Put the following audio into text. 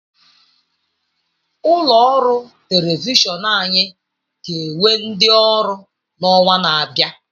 Ụlọ ọrụ telivishọn anyị ga-ewe ndi ọrụ n'ọnwa na-abịa.